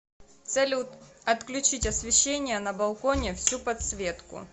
салют отключить освещение на балконе всю подсветку